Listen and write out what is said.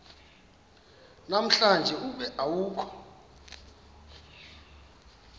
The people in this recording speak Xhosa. namhlanje ube awukho